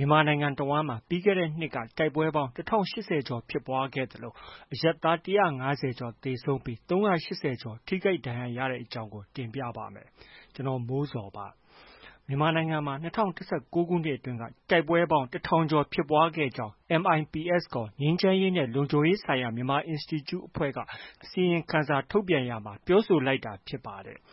မြန်မာနိုင်ငံတဝန်း ပြီးခဲ့တဲ့နှစ်ထဲ တိုက်ပွဲပေါင်း ၁၀၈၀ ကျော် ဖြစ်ပွားခဲ့သလို အရပ်သား ၁၅၀ကျော်သေဆုံးပြီး ၃၈၀ ကျော် ထိခိုက်ဒဏ်ရာ ရခဲ့တဲ့အကြောင်းကို ကိုမိုးဇော် တင်ပြပေးမှာပါ။ မြန်မာနိုင်ငံမှာ ၂၀၁၉ ခုနှစ်အတွင်း တိုက်ပွဲပေါင်း ၁ ထောင်ကျော် ဖြစ်ပွားခဲ့ကြောင်း MIPS ခေါ် ငြိမ်းချမ်းရေးနဲ့ လုံခြုံရေးဆိုင်ရာ မြန်မာအင်စတီကျူအဖွဲ့က အစီရင်ခံစာ ထုတ်ပြန်ရာမှာ ပြောဆိုလိုက်တာ ဖြစ်ပါတယ်။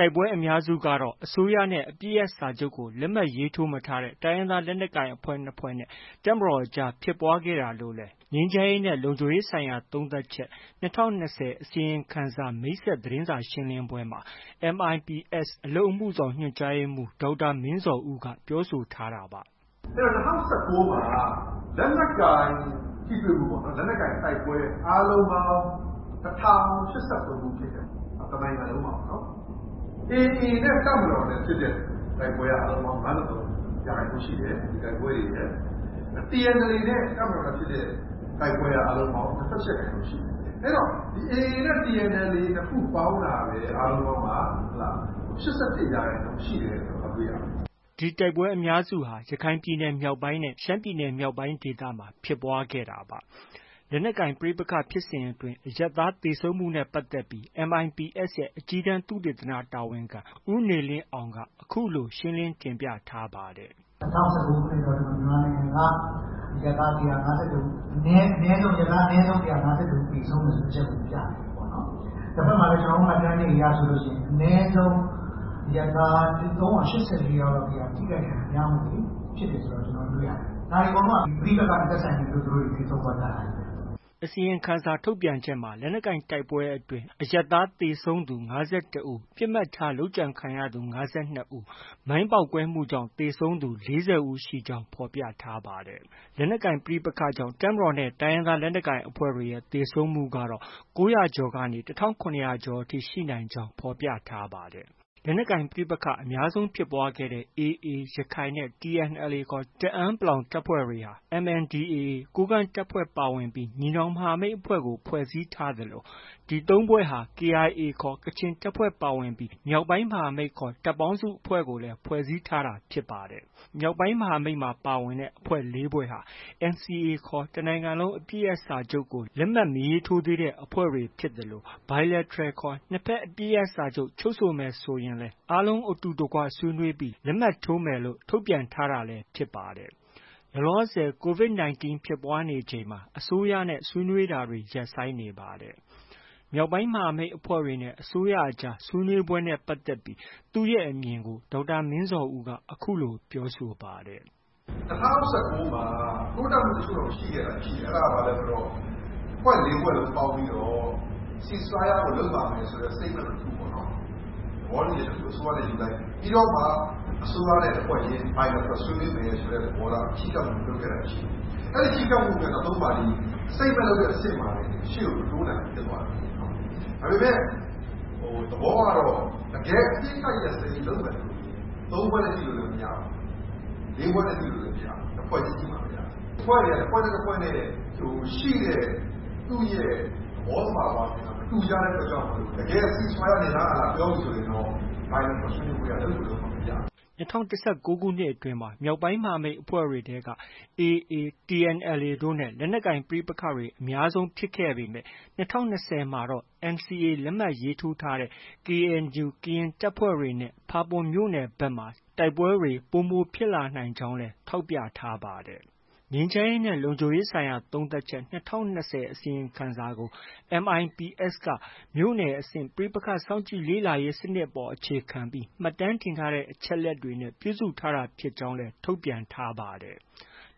တိုက်ပွဲအများစုကတော့ အစိုးရနဲ့ အပစ်ရပ်စာချုပ်ကို လက်မှတ်ထိုးမထားတဲ့ တိုင်းရင်းသား လက်နက်ကိုင်အဖွဲ့ ၂ ဖွဲ့နဲ့ တပ်မတော်ကြား ဖြစ်ပွားခဲ့တာလို့လည်း “ငြိမ်းချမ်းရေးနဲ့ လုံခြုံရေးဆိုင်ရာ သုံးသပ်ချက် - ၂၀၂၀ အစီရင်ခံစာ” မိတ်ဆက်သတင်းစာရှင်းလင်းပွဲမှာ MIPS အလုပ်အမှုဆောင် ညွှန်ကြားရေးမှူး ဒေါက်တာမင်းဇော်ဦးက ပြောဆိုခဲ့တာပါ။ “အဲတော့ ၂၀၁၉မှာ လက်နက်ကိုင်ထိတွေ့မှုပေါ့။ လက်နက်ကိုင်တိုက်ပွဲ အားလုံးပေါင်း ၁၀၈၃ခု ဖြစ်ခဲ့ပါတယ်။ တစ်နိုင်ငံလုံးမှာပေါ့နော်။ AA နဲ့ တပ်မတော်နဲ့ ဖြစ်တဲ့ တိုက်ပွဲက အားလုံးပေါင်း ၅၃ရာခိုင်နှုန်းရှိတယ်။ ဒီတိုက်ပွဲတွေရဲ့။ TNLA နဲ့ တပ်မတော်နဲ့ ဖြစ်တဲ့ တိုက်ပွဲက ၂၈ရာခိုင်နှုန်းရှိတယ်။ အဲတော့ AAနဲ့ TNLA နှစ်ခုပေါင်းတာပဲ အားလုံးပေါင်းက ၈၁ရာခိုင်နှုန်းရှိတယ်ဆိုတာ သွားတွေ့ရတယ်။” ဒီတိုက်ပွဲအများစုဟာ ရခိုင်ပြည်နယ်မြောက်ပိုင်းနဲ့ ရှမ်းပြည်နယ်မြောက်ပိုင်းဒေသမှာ အများဆုံးဖြစ်ပွားခဲ့တာပါ။ ဒီလက်နက်ကိုင်ပဋိပက္ခဖြစ်စဉ်အတွင်း အရပ်သားသေဆုံးမှုနဲ့ ပတ်သက်ပြီး MIPS ရဲ့ အကြီးတန်း သုတေသန တာဝန်ခံ ဦးနေလင်းအောင်က အခုလို ရှင်းလင်းတင်ပြထားပါတယ်။ “ ၂၀၁၉ခုနှစ်မှာ မြန်မာနိုင်ငံက အရပ်သား ၁၅၁ဦး၊ အနည်းဆုံး အရပ်သား ၁၅၁ဦး သေဆုံးတယ်ဆိုတဲ့ အချက်ကို ပြနေတယ်။ တစ်ဘက်မှာလည်း ကျနော်တို့ မှတ်တမ်းတွေအရဆိုရင် အနည်းဆုံး အရပ်သား ၃၈၄ယောက်လောက် ထိခိုက်ဒဏ်ရာရမှုတွေ ဖြစ်တယ်ဆိုတာကို ကျနော်တို့ တွေ့ရတယ်။ ဒါတွေအကုန်လုံးက ပဋိပက္ခနဲ့ သက်ဆိုင်လို့ အကုန်သေဆုံး သွားကြတာချည်းပဲ။” အစီရင်ခံစာထုတ်ပြန်ချက်မှာ လက်နက်ကိုင်တိုက်ပွဲအတွင်အရပ်သား သေဆုံးသူ ၅၁ဦး၊ ပစ်မှတ်ထား လုပ်ကြံခံရသူ ၅၂ဦး၊ မိုင်းပေါက်ကွဲမှုကြောင့် သေဆုံးသူ ၄၀ဦး ရှိကြောင်းဖော်ပြပါတယ်။ လက်နက်ကိုင် ပဋိပက္ခကြောင့် တပ်မတော်နဲ့ တိုင်းရင်းသားလက်နက်ကိုင်အဖွဲ့တွေရဲ့ သေဆုံးမှုကတော့ ၉၀၀ကျော်ကနေ ၁၇၀၀ ကျော်အထိ ရှိနိုင်ကြောင်း ဖော်ပြပါတယ်။ လက်နက်ကိုင်ပဋိပက္ခအများဆုံး ဖြစ်ပွားခဲ့တဲ့ AA ရခိုင်နဲ့ TNLA ခေါ် တအန်း(ပလောင်) တပ်ဖွဲ့တွေဟာ MNDAA ကိုးကန့်တပ်ဖွဲ့ပါဝင်ပြီး ညီနောင်မဟာမိတ်အဖွဲ့ကို ဖွဲ့စည်းထားသလို ဒီသုံးဖွဲ့နဲ့ KIA ခေါ် ကချင်တပ်ဖွဲ့ ပါဝင်ပြီး မြောက်ပိုင်းမဟာမိတ်ခေါ်တဲ့ တပ်ပေါင်းစုအဖွဲ့ကိုလည်း ဖွဲ့စည်းထားတာ ဖြစ်ပါတယ်။ မြောက်ပိုင်းမဟာမိတ်အဖွဲ့ ၄ဖွဲ့ဟာ NCA ခေါ် တစ်နိုင်ငံလုံး အပစ်ရပ်စာချုပ်ကို လက်မှတ်မရေးထိုးသေးတဲ့ အဖွဲ့တွေဖြစ်သလို Bilateral ခေါ် နှစ်ဘက် အပစ်ရပ်စာချုပ်ချုပ်ဆိုမယ်ဆိုရင်လည်း အားလုံး အတူတကွ ဆွေးနွေးပြီး လက်မှတ်ထိုးမယ်လို့ ထုတ်ပြန်ထားတာလည်း ဖြစ်ပါတယ်။ လောလောဆည် COVID 19 ဖြစ်ပွားနေချိန်မှာ အစိုးရနဲ့ ဆွေးနွေးနေတာတွေ ရပ်ဆိုင်းနေပါတယ်။ မြောက်ပိုင်းမဟာမိတ်အဖွဲ့တွေနဲ့ အစိုးရအကြား ဆွေးနွေးပွဲနဲ့ပတ်သက်လို့ သူ့ရဲ့ အမြင်ကို ဒေါက်တာမင်းဇော်ဦးက အခုလို ပြောဆိုပါတယ်။ “ ၂၀၁၉မှာ တိုးတက်မှုတချို့တော့ ရှိခဲ့တာရှိတယ်။ အဲဒါက ဘာလဲဆိုတော့ အဖွဲ့ ၄ဖွဲ့လုံးပေါင်းပြီးတော့ Ceasefire ကို လုပ်ပါမယ်ဆိုတဲ့ Statement တစ်ခုပေါ့။ သဘောတူညီချက်တစ်ခု အစိုးရနဲ့ ယူလိုက်တာ ရှိတယ်။ ပြီးတော့မှ အစိုးရနဲ့ တစ်ဖွဲ့ချင်း Bilateral ဆွေးနွေးမယ်ဆိုတဲ့ သဘောထား ချဉ်းကပ်မှု လုပ်ခဲ့တာရှိတယ်။ အဲဒီချဉ်းကပ်မှုနဲ့ ၃ပါတီ Statement လုပ်တဲ့ အဆင့်မှာတင် ရှေ့ကို မတိုးနိုင်ဘူးဖြစ်သွားတယ်။ ဒါပေမဲ့ သဘောကတော့ တကယ် အပစ်အခတ်ရပ်စဲရေးလုပ်မယ်ဆိုရင် ၃ဖွဲ့ ညှိလို့လည်း မရဘူး။ ၄ဖွဲ့နဲ့ ညှိလို့လည်း မရဘူး။ တစ်ဖွဲ့ချင်းညှိမှပဲ ရမယ်။ အဖွဲ့တွေက တစ်ဖွဲ့နဲ့ တစ်ဖွဲ့နဲ့ ရှိတဲ့ သူ့ရဲ့ သဘောသဘာဝချင်းက မတူကြတဲ့အတွက်ကြောင့်မို့ တကယ် Ceasefire နင်လား၊ ငါလား ပြောပြီဆိုရင်တော့ Bilateral ဆွေးနွေးပွဲက လုပ်ကို လုပ်မှ ရမယ်။” ၂၀၁၉ခုနှစ် အတွင်းမှာ မြောက်ပိုင်းမဟာမိတ်အဖွဲ့တွေထဲက AA၊ TNLA တို့နဲ့ လက်နက်ကိုင်ပဋိပက္ခတွေ အများဆုံးဖြစ်ခဲ့ပေမဲ့ ၂၀၂၀မှာတော့ NCA လက်မှတ်ရေးထိုးထားတဲ့ KNU ကရင်တပ်ဖွဲ့တွေနဲ့ ဖာပွန်မြို့နယ်ဘက်မှာ တိုက်ပွဲတွေ ပိုမိုဖြစ်လာနိုင်ကြောင်းလည်း ထောက်ပြထားပါတယ်။ “ ငြိမ်းချမ်းရေးနဲ့ လုံခြုံရေးဆိုင်ရာ သုံးသပ်ချက် - ၂၀၂၀ အစီရင်ခံစာ” ကို MIPS က မြို့နယ်အဆင့် ပဋိပက္ခစောင့်ကြည့်လေ့လာရေးစနစ်အပေါ်အခြေခံပြီး မှတ်တမ်းတင်ထားတဲ့အချက်အလက်တွေနဲ့ ပြုစုထားတာဖြစ်ကြောင်းလည်း ထုတ်ပြန်ထားပါတယ်။